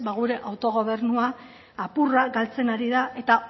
gure autogobernu apurra galtzen ari da eta